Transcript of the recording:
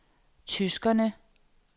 tyskerne